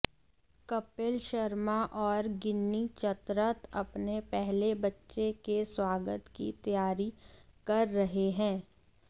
कपिल शर्मा और गिन्नी चतरथ अपने पहले बच्चे के स्वागत की तैयारी कर रहे हैं